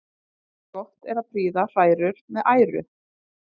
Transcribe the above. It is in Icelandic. Gott er að prýða hrærur með æru.